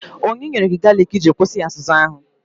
Onye nyere gị galiki iji kwụsị azụzụ ahụ?